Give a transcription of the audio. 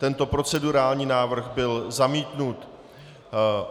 Tento procedurální návrh byl zamítnut.